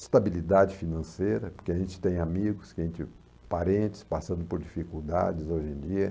estabilidade financeira, porque a gente tem amigos, que a gente, parentes passando por dificuldades hoje em dia.